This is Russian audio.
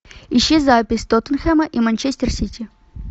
ищи запись тоттенхэма и манчестер сити